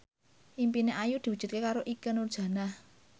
impine Ayu diwujudke karo Ikke Nurjanah